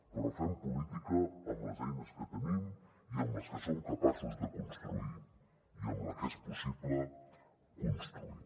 però fem política amb les eines que tenim i amb les que som capaços de construir i amb la que és possible construir